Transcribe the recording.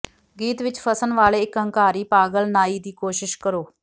ਗੀਤ ਵਿਚ ਫਸਣ ਵਾਲੇ ਇਕ ਹੰਕਾਰੀ ਪਾਗਲ ਨਾਈ ਦੀ ਕੋਸ਼ਿਸ਼ ਕਰੋ